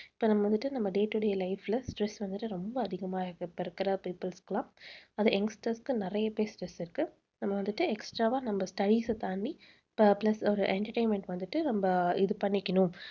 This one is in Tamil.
இப்ப நம்ம வந்துட்டு நம்ம day-to-day life ல stress வந்துட்டு ரொம்ப அதிகமா இருக்கு. இப்ப இருக்கிற peoples க்கு எல்லாம். அது நிறைய youngsters க்கு நிறையவே stress இருக்கு. நம்ம வந்துட்டு extra வா நம்ம தாண்டி plus ஒரு entertainment வந்துட்டு நம்ம இது பண்ணிக்கணும்